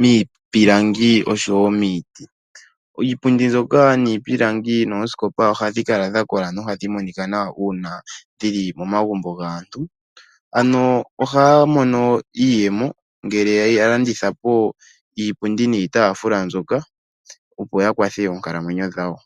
miipilangi oshowo miiti. Iipundi zoka niipilangi dhoskopa ohadhi kala dha kola nohadhi monika nawa una dhili momagumbo gaantu, ano ohaya mono iiyemo ngele ya landithapo iipundi niitafula mbyoka opo ya kwathe oonkalamwenyo dhawo.